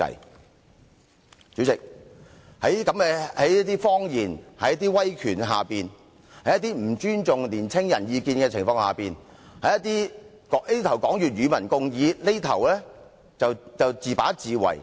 代理主席，我們面對着這些謊言、威權、不尊重年青人意見的情況，這邊廂說要與民共議，另一邊廂卻自把自為。